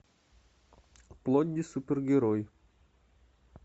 плодди супергерой